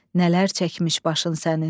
Nələr çəkmiş başın sənin.